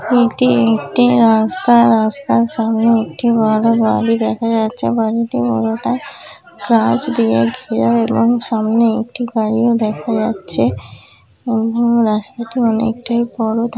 এটি একটি রাস্তা রাস্তার সামনে একটি বড়ো বাড়ি দেখা যাচ্ছে বাড়িটির পুরোটা গাছ দিয়ে ঘেরা এবং সামনে একটি গাড়িও দেখা যাচ্ছে রাস্তাটি অনেকটাই বড়ো।